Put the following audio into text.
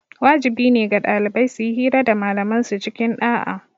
Wajibi ne ga ɗalibai suyi hira da malaman su cikin ɗa'a